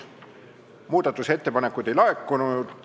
Muudatusettepanekuid ei laekunud.